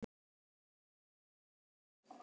Og þá voru vængir hérna, bak við hendurnar.